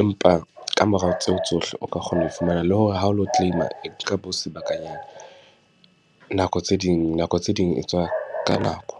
Empa ka mora tseo tsohle o ka kgona ho fumana. Le hore ha o lo claim-a e nka bo sebakanyana. Nako tse ding, nako tse ding e tswa ka nako.